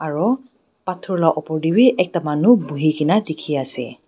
Aro pathor laga upor tey wi ekta manu buhi kena dekhi ase.